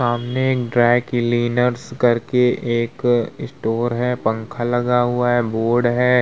सामने dry cleaners करके एक स्टोर है। पंखा लगा हुआ है बोर्ड है।